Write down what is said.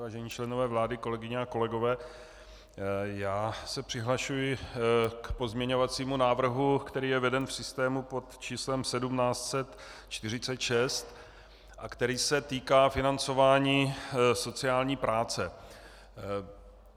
Vážení členové vlády, kolegyně a kolegové, já se přihlašuji k pozměňovacímu návrhu, který je veden v systému pod číslem 1746 a který se týká financování sociální práce.